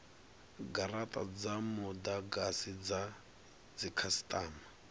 garata dza mudagasi dza dzikhasitama